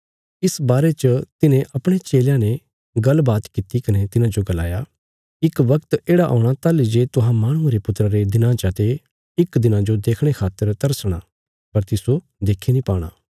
इस बारे च तिन्हे अपणे चेलयां ने गल्ल बात किति कने तिन्हांजो गलाया इक बगत येढ़ा औणा ताहली जे तुहां माहणुये रे पुत्रा रे दिनां चा ते इक दिना जो देखणे खातर तरसणा पर तिस्सो देक्खी नीं पाणा